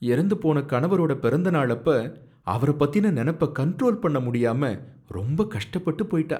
எறந்து போன கணவரோட பிறந்த நாளப்ப அவரபத்தின நெனப்ப கண்ட்ரோல் பண்ண முடியாம ரொம்ப கஷ்டப்பட்டு போயிட்டா.